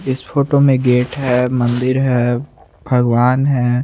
इस फोटो में गाते हैं मंदिर है भगवान है।